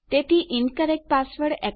તેથી incorrect password